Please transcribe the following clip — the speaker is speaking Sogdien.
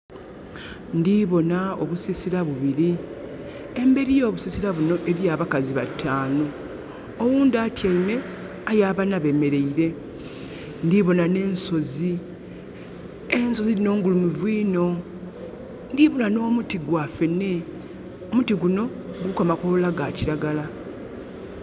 Ndiboona obusisira bubiri. Emberi y'obusisira bunho eliyo abakazi bakazi batanu. Oghundhi atyaime aye abana bemereire. Ndiboona ne nsozi. Ensozi dhinho ngulumivu inho. Ndiboona nomuti gwafene omuti gunho guliku amakoola gakiragala.